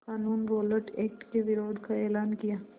क़ानून Rowlatt act के विरोध का एलान किया